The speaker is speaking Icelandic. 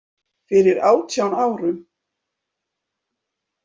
Fyrir átján árum.